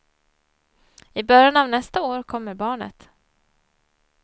I början av nästa år kommer barnet.